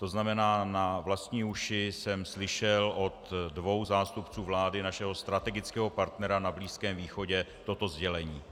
To znamená, na vlastní uši jsem slyšel od dvou zástupců vlády našeho strategického partnera na Blízkém východě toto sdělení.